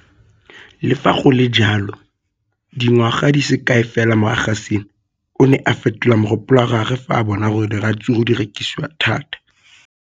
Le fa go le jalo, dingwaga di se kae fela morago ga seno, o ne a fetola mogopolo wa gagwe fa a bona gore diratsuru di rekisiwa thata.